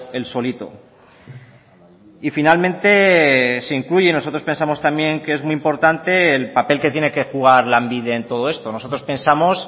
él solito y finalmente se incluye nosotros pensamos también que es muy importante el papel que tiene que jugar lanbide en todo esto nosotros pensamos